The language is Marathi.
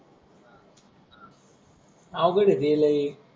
आवघड ते लय.